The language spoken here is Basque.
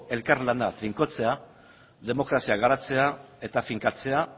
elkar lana finkatzea demokrazia garatzea eta finkatzea